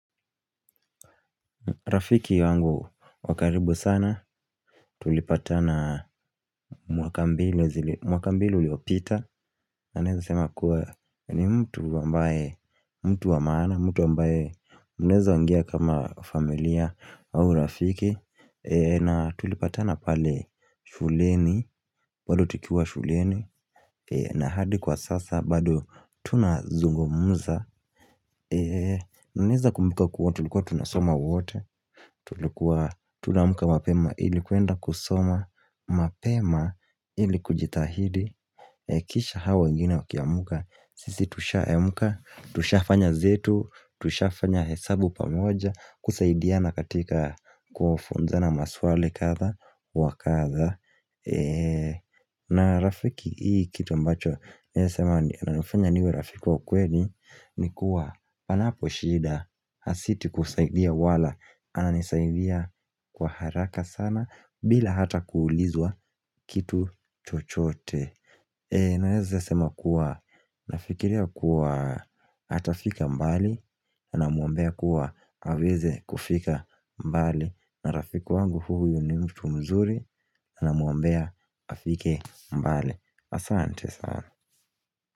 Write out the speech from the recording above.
Rafiki yangu wa karibu sana, tulipatana mwaka mbili, mwaka mbili zilizopita, na naweza sema kuwa ni mtu ambaye, mtu wa maana, mtu ambaye mnaweza ongea kama familia au rafiki. Na tulipatana pale shuleni bado tukiwa shuleni. Na hadi kwa sasa bado tunazungumuza Ninaweza kumbuka kuwa tulikuwa tunasoma wote Tulikuwa tunaamka mapema ili kwenda kusoma mapema ili kujitahidi kisha hao wengine wakiamka sisi tushaamka tushafanya zetu tushafanya hesabu pamoja kusaidia na katika kufunzana maswali kadha wa kadha na rafiki hii kitu ambacho nasema inafanya niwe rafiki waukweli nikuwa panapo shida na si tu kusaidia wala ananisaidia kwa haraka sana bila hata kuulizwa kitu chochote Naeza sema kuwa Nafikiria kuwa atafika mbali Anamuombea kuwa aweze kufika mbali na rafiki wangu huyu ni mtu mzuri namuambea afike mbali Asante sana.